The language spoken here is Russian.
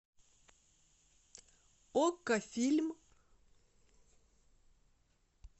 окко фильм